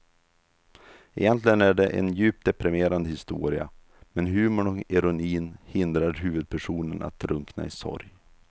Egentligen är det en djupt deprimerande historia men humorn och ironin hindrar huvudpersonen att drunkna i sorg.